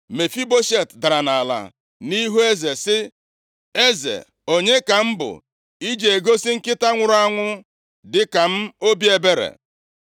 Mefiboshet dara nʼala nʼihu eze sị, “Eze, onye ka m bụ i ji egosi nkịta nwụrụ anwụ dịka m obi ebere?”